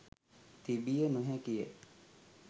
තිබිය නොහැකිය.